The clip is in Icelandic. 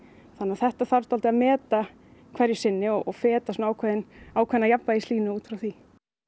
þetta þarf að meta hverju sinni og feta ákveðna ákveðna út frá því